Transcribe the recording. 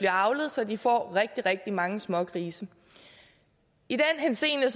avlet så de får rigtig rigtig mange smågrise i den henseende